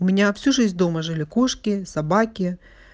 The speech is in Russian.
у меня всю жизнь дома жили кошки собаки